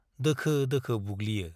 दोखो-दोखो बुग्लियो।